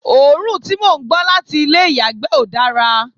òórùn tí mò ń gbọ́ láti ilé ìyàgbẹ́ ò dára